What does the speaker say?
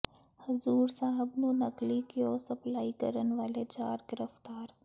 ਹਜ਼ੂਰ ਸਾਹਿਬ ਨੂੰ ਨਕਲੀ ਘਿਓ ਸਪਲਾਈ ਕਰਨ ਵਾਲੇ ਚਾਰ ਗ੍ਰਿਫ਼ਤਾਰ